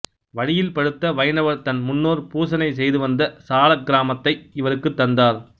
வழியில் பழுத்த வைணவர் தன் முன்னோர் பூசனை செய்துவந்த சாளக்கிராமத்தை இவருக்குத் தந்தார்